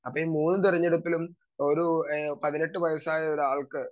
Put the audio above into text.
speaker 2 അതെ മൂന്ന് തെരഞ്ഞെടുപ്പിലും ആഹ് ഒരു പതിനെട്ട് വയസ്സായ ഒരാൾക്ക്